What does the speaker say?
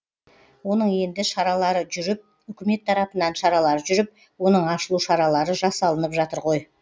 оның енді шаралары жүріп үкімет тарапынан шаралар жүріп оның ашылу шаралы жасалынып жатыр ғой